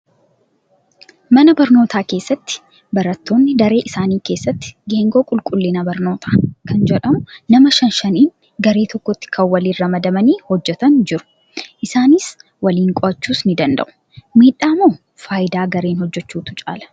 Mana barnootaa keessatti barattoonni daree isaanii keessatti geengoo qulqllina barnootaa kan jedhamu nama shan shaniin garee tokkotti kan waliin ramadamanii hojjatan jiru. Isaanis waliin qo'achuus ni danda'u. Miidhaa moo fayidaa gareen hojjachuutu caalaa?